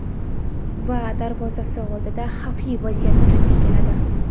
Va darvozasi oldida xavfli vaziyat vujudga keladi.